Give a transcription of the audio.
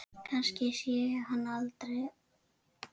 Kannski sé ég hann aldrei.